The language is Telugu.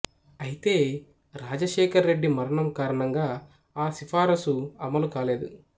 అయితే రాజశేఖరరెడ్డి మరణం కారణంగా ఆ సిఫారసు అమలు కాలేదు